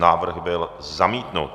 Návrh byl zamítnut.